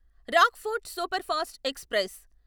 Rockfort superfast express